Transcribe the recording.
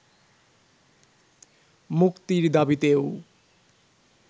মুক্তির দাবিতেও